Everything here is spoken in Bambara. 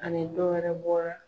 Ani dɔwɛrɛ bɔra.